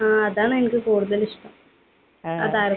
ആ. അതാണ് എനിക്ക് കൂടുതൽ ഇഷ്ടം. ആ താരത്തെ.